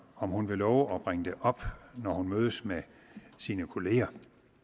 om hun vil love at bringe det op når hun mødes med sine kollegaer